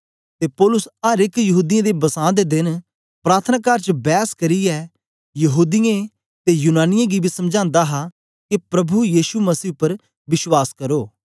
ते पौलुस अर एक यहूदीयें दे बसां दे देन प्रार्थनाकार च बैस करियै यहूदीयें ते यूनानियें गी बी समझांदा हा के प्रभु यीशु मसीह पर विश्वास करो